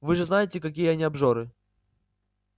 вы же знаете какие они обжоры